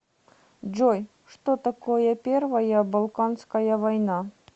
джой что такое первая балканская война